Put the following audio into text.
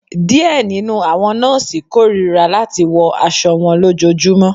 Diẹ ninu awọn nọọsi korira lati wọ aṣọ wọn lojoojumọ